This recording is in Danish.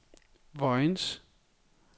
Vojens